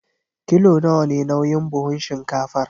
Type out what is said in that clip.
Kilo nawa ne nauyin buhun shinkafar?